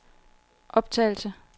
optagelse